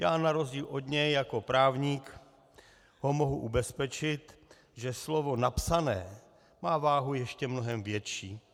Já na rozdíl od něj jako právník ho mohu ubezpečit, že slovo napsané má váhu ještě mnohem větší.